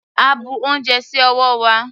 A bu ounjẹ sí ọwọ́ wa.